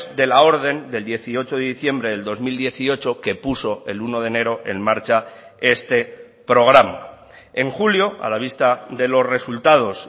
de la orden del dieciocho de diciembre del dos mil dieciocho que puso el uno de enero en marcha este programa en julio a la vista de los resultados